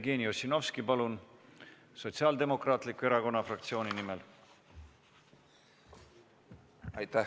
Jevgeni Ossinovski Sotsiaaldemokraatliku Erakonna fraktsiooni nimel, palun!